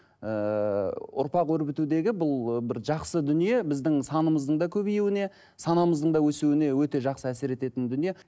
ыыы ұрпақ өрбітудегі бұл ы бір жақсы дүние біздің санымыздың да көбеюіне санамыздың да өсуіне өте жақсы әсер ететін дүние